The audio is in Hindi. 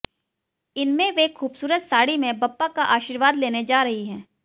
इनमें वे खूबसूरत साड़ी में बप्पा का आशीर्वाद लेने जा रही हैं